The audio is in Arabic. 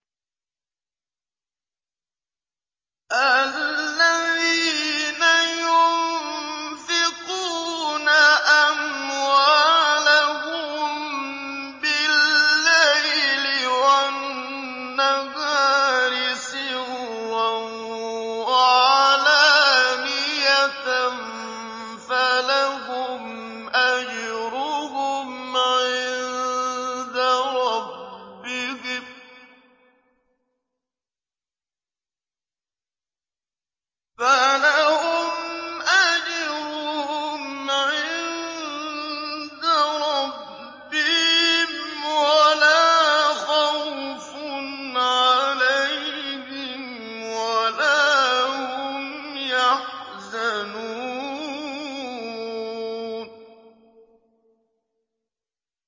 الَّذِينَ يُنفِقُونَ أَمْوَالَهُم بِاللَّيْلِ وَالنَّهَارِ سِرًّا وَعَلَانِيَةً فَلَهُمْ أَجْرُهُمْ عِندَ رَبِّهِمْ وَلَا خَوْفٌ عَلَيْهِمْ وَلَا هُمْ يَحْزَنُونَ